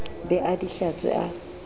be a di hlatswe a